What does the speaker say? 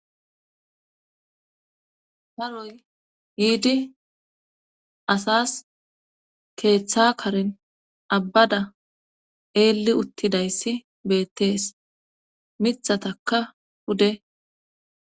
Paroy yiidi asas keeththa karin abbada eelli uttidayssi beettees mithatakka hude.